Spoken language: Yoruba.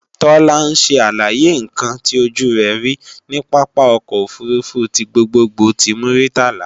Tọ́lá ń ṣe àlàyé ǹkan tí ojú rẹ̀ rí ní pápá ọkọ̀ òfurufú ti gbogbogbò ti Muritala